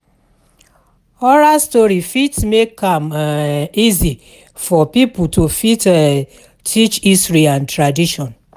Oral story fit make am um easy for pipo to fit um teach history and tradition